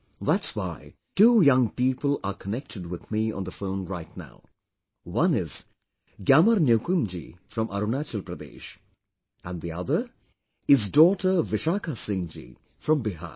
That's why two young people are connected with me on the phone right now one is GyamarNyokum ji from Arunachal Pradesh and the other is daughter Vishakha Singh ji from Bihar